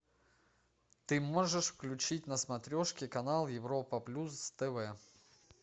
ты можешь включить на смотрешке канал европа плюс тв